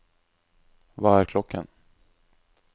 hva er klokken